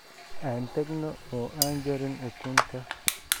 Aan tagno oo aan jarin ukunta.